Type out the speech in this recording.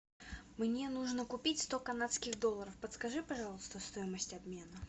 мне нужно купить сто канадских долларов подскажи пожалуйста стоимость обмена